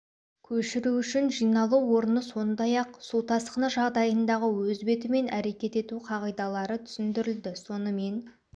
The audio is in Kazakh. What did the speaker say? көшіру үшін жиналу орны сондай-ақ су тасқыны жағдайындағы өз бетімен әрекет ету қағидалары түсіндірілді сонымен